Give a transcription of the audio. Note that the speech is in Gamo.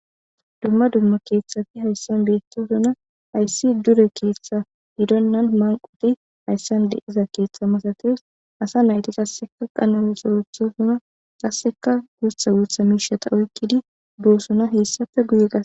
dumma dumma keeththafi hayssan beettosuna hayssi dure keeththa gidonnan manqoti hayssande iza keeththa masatees asa nayti qasseka qanoli sorethosuna qasseka guutha guutha miishata oykkidi boosuna hessafe guye gass